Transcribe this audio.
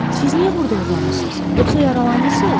Siz niyə burda uzanmısız, yoxsa yaralanmısız?